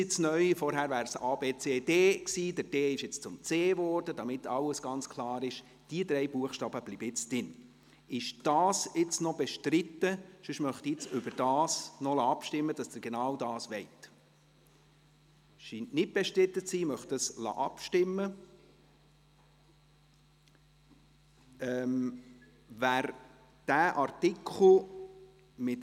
Jetzt gehe ich noch ein bisschen zurück zum Artikel 21 Absatz 1, bei dem ja die Regierung – und das ist eben etwas verwirrend – der SAK-Mehrheit gefolgt beziehungsweise diesen Kompromiss eingegangen ist.